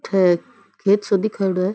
खेत खेत सो दिखायोड़ो है।